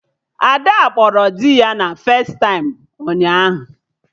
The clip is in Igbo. Ada kpọrọ dị ya na festaịm ụnyaahụ